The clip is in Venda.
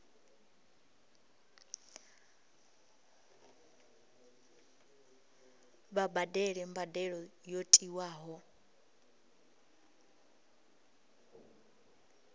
vha badele mbadelo yo tiwaho